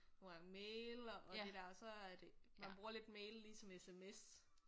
Nogle gange mail og og det der så er det man bruger lidt mail ligesom SMS